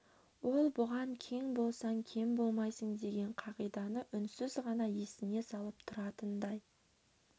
ол бұған кең болсаң кем болмайсың деген қағиданы үнсіз ғана есіне салып тұратындай